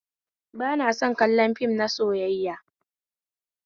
Ba na son kallon fim na soyayya